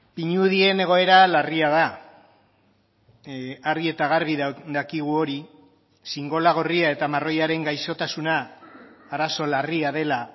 pinudien egoera larria da argi eta garbi dakigu hori xingola gorria eta marroiaren gaixotasuna arazo larria dela